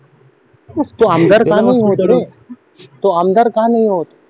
तो आमदार का नाही होत रे तो आमदार का नाही होत